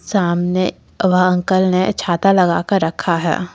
सामने वह अंकल ने छाता लगा कर रखा है।